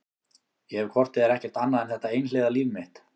Ég hef hvort eð er ekkert annað en þetta einhliða líf mitt.